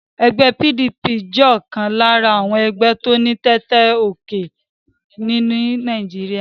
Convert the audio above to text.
Egbé PDP jé òkan lára àwon egbé tó ní tètè gòkè ní Naíjiria